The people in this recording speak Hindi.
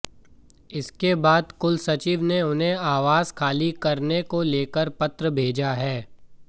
इसके बाद कुलसचिव ने उन्हें आवास खाली करने को लेकर पत्र भेजा है